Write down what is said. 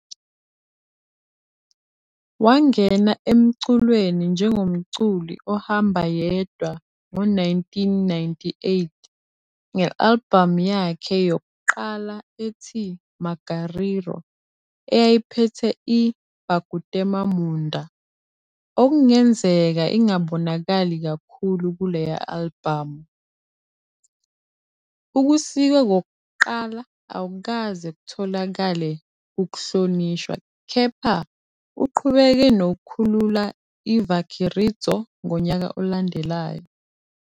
Wangena emculweni njengomculi ohamba yedwa ngo-1998, nge-albhamu yakhe yokuqala ethi "Magariro", eyayiphethe i- "Pakutema Munda", okungenzeka ingabonakali kakhulu kuleya albhamu. Ukusikwa kokuqala akukaze kutholakale ukuhlonishwa kepha uqhubeke nokukhulula iVakiridzo ngonyaka olandelayo.